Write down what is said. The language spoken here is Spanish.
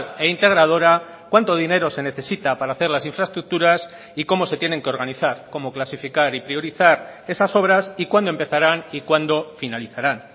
e integradora cuánto dinero se necesita para hacer las infraestructuras y cómo se tienen que organizar como clasificar y priorizar esas obras y cuándo empezaran y cuando finalizarán